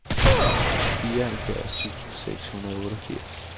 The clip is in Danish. fireoghalvfjerds tusind seks hundrede og otteogfirs